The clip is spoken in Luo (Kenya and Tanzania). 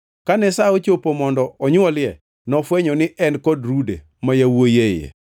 Kane sa ochopo mondo onywolie, nofwenyo ni en kod rude ma yawuowi e iye.